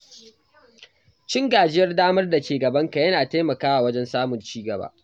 Cin gajiyar damar da ke gabanka yana taimakawa wajen samun ci gaba.